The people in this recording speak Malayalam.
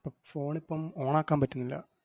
~പ്പം phone ഇപ്പം on ആക്കാൻ പറ്റുന്നില്ല.